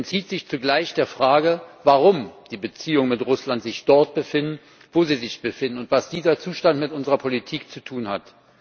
Er entzieht sich zugleich der Frage, warum die Beziehungen mit Russland sich dort befinden, wo sie sich befinden, und was dieser Zustand mit unserer Politik zu tun hat.